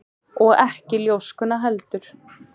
Og ekki ljóskuna heldur.